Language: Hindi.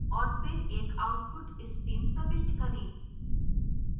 और फिर एक output stream प्रविष्ट करें